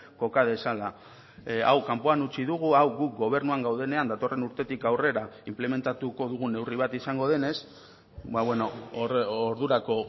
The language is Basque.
koka dezala hau kanpoan utzi dugu hau guk gobernuan gaudenean datorren urtetik aurrera inplementatuko dugun neurri bat izango denez ordurako